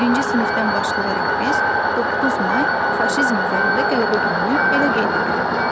Birinci sinifdən başlayaraq biz 9 may faşizm üzərində qələbə gününü belə qeyd edirik.